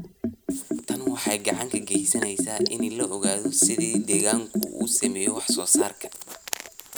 Tani waxay gacan ka geysaneysaa in la ogaado sida deegaanku u saameeyo wax soo saarka.